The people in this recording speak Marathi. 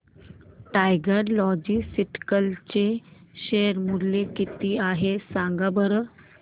टायगर लॉजिस्टिक्स चे शेअर मूल्य किती आहे सांगा बरं